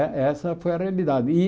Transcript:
Eh essa foi a realidade. E